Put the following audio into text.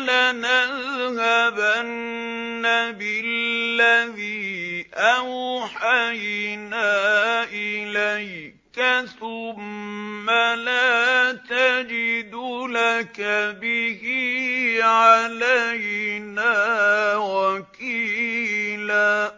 لَنَذْهَبَنَّ بِالَّذِي أَوْحَيْنَا إِلَيْكَ ثُمَّ لَا تَجِدُ لَكَ بِهِ عَلَيْنَا وَكِيلًا